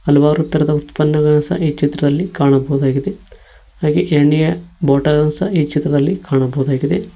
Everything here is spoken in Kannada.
ಹಲವಾರು ತರಹದ ಉತ್ಪನ್ನಗಳ ಸಹ ಈ ಚಿತ್ರದಲ್ಲಿ ಕಾಣಬಹುದಾಗಿದೆ ಹಾಗೆ ಎಣ್ಣೆಯ ಬಾಟಲ್ ಸಹ ಈ ಚಿತ್ರದಲ್ಲಿ ಕಾಣಬಹುದಾಗಿದೆ.